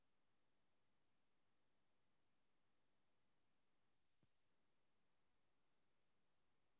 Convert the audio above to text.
so நீங்க உங்களுக்கு எது வேணுமோ நீங்க அது பாத்து சொல்லிடுங்க. அந்த cake கூட எனக்கு அனுப்பிச்சிட்டீங்கனா நாங்க அது பாத்து இது பண்ணிப்போம்.